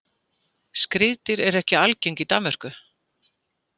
Skriðdýr eru ekki algeng í Danmörku.